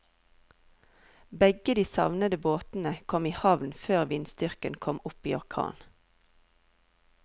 Begge de savnede båtene kom i havn før vindstyrken kom opp i orkan.